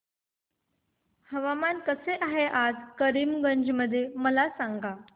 हवामान कसे आहे आज करीमगंज मध्ये मला सांगा